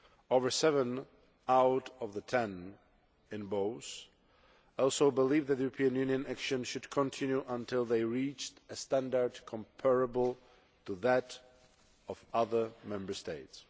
Over seven out of the ten in both also believed that the European Union action should continue until they reached a standard comparable to that of other Member States.